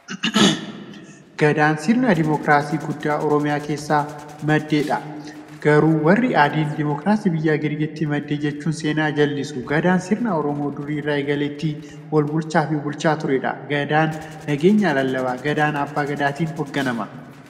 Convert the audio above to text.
Gadaan sirna diimokiraasii guddaa oromiyaa keessaa maddeedha. Garuu warri Adiin, diimokiraasiin biyya Girikiitii madde jechuun seenaa jallisu. Gadaan sirna Oromoon duri irraa eegalee ittiin walbulchaafi bulaa tureedha. Gadaan nageenya lallabaa. Gadaan abbaa gadaatin hoogganama.